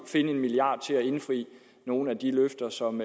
give en milliard kroner til at indfri nogle af de løfter som